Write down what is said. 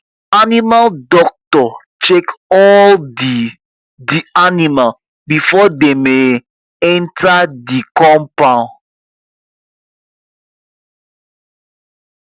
animal doctor check all the the animal before dem um enter the coumpound